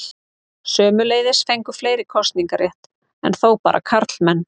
Sömuleiðis fengu fleiri kosningarétt, enn þó bara karlmenn.